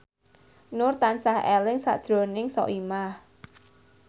Nur tansah eling sakjroning Soimah